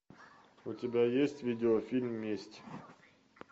у тебя есть видеофильм месть